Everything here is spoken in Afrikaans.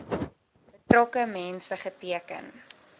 betrokke mense geteken